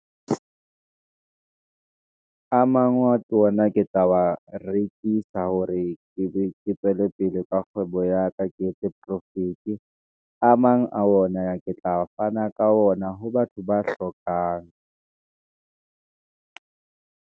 a mang wa tsona ke tla wa rekisa, hore ke ne tswele pele ka kgwebo ya ka, ke etse profit-e a mang a wona, ya ke tla fana ka ona ho batho ba hlokang.